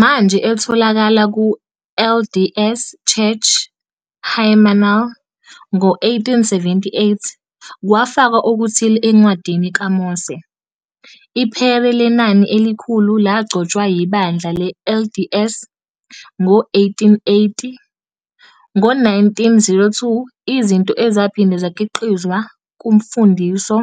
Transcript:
Manje etholakala ku- LDS Church hymnal. Ngo-1878, kwafakwa okuthile eNcwadini kaMose. IPhere Lenani Elikhulu lagcotshwa yiBandla le-LDS ngo-1880. Ngo-1902, izinto ezaphinde zakhiqizwa kuMfundiso